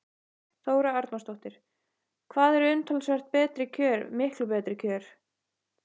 Þóra Arnórsdóttir: Hvað eru umtalsvert betri kjör miklu betri kjör?